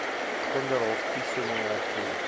kinderhof toestemming erken